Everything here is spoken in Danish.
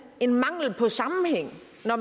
at